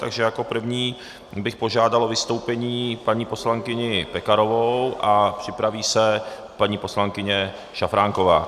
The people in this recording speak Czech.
Takže jako první bych požádal o vystoupení paní poslankyni Pekarovou a připraví se paní poslankyně Šafránková.